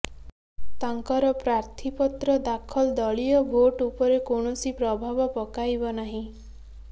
ତାଙ୍କର ପ୍ରାର୍ଥିପତ୍ର ଦାଖଲ ଦଳୀୟ ଭୋଟ ଉପରେ କୌଣସି ପ୍ରଭାବ ପକାଇବ ନାହିଁ